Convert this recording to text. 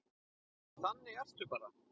Því þannig ertu bara.